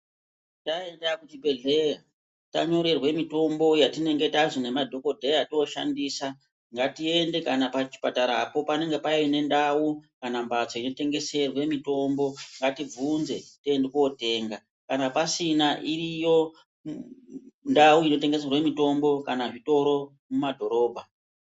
Timombai bonga zvedu musharukwa wekwedu uno unounganidza vanhu ofundisa maererano nemitombo taenda kuzvibhehleyangatiende pachipatarapo panenge painendau kana mbatso inotengeserwa mitombo ngatibvunze tiende kootenga kana pasina iriyo ndau inotengeserwa mitombo kana zvitoro mumadhorobha.